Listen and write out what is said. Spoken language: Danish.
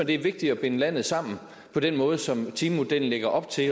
det er vigtigt at binde landet sammen på den måde som timemodellen lægger op til